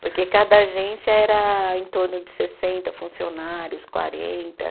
Porque cada agência era em torno de sessenta funcionários, quarenta.